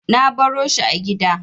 Na baro shi a gida.